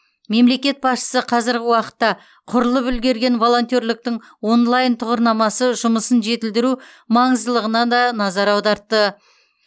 мемлекет басшысы қазіргі уақытта құрылып үлгерген волонтерліктің онлайн тұғырнамасы жұмысын жетілдіру маңыздылығына да назар аудартты